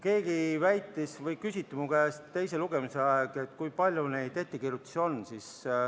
Minu käest küsiti teise lugemise ajal, kui palju neid ettekirjutusi on.